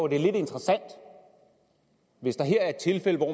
det er lidt interessant hvis det her er et tilfælde hvor